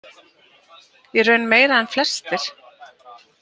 Í raun meira en flestir.